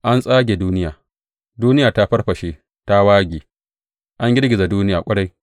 An tsage duniya, duniya ta farfashe ta wage, an girgiza duniya ƙwarai.